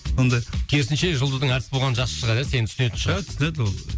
сондай керісінше жұлдыздың әртіс болғаны жақсы шығар ия сені түсінетін шығар ия түсінеді ол